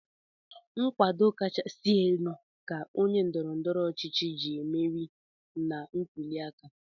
Nkwado kachasịnụ ka onye ndọrọndọrọ ọchịchị ji emeri na ntụliaka.